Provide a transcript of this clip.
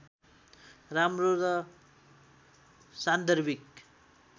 राम्रो र सान्दर्भिक